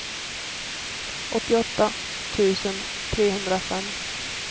åttioåtta tusen trehundrafem